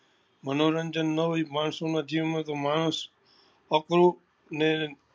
મનોરંજન નાં હોય એ માણસો ના જીવન માં તો માણસ અકડું ને